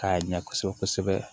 K'a ɲɛ kosɛbɛ kosɛbɛ